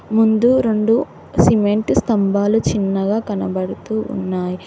ముందు రొండు సిమెంటు స్తంభాలు చిన్నగా కనబడుతూ ఉన్నాయి.